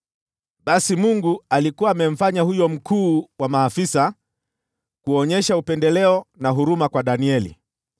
Basi Mungu alikuwa amemfanya huyo mkuu wa maafisa kuonyesha upendeleo na huruma kwa Danieli,